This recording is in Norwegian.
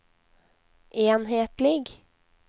enhetlig